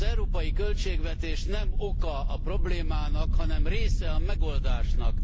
Az európai költségvetés nem oka a problémának, hanem része a megoldásnak.